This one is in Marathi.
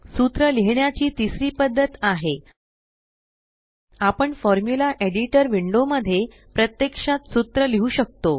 सूत्र लिहिण्याची तिसरी पद्धत आहे आपण फॉर्मुला एडिटर विंडो मध्ये प्रत्यक्षात सूत्र लिहु शकतो